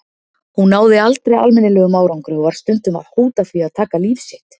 Hún náði aldrei almennilegum árangri og var stundum að hóta því að taka líf sitt.